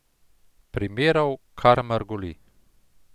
Primerov kar mrgoli.